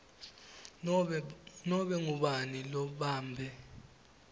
nobe ngubani lobambe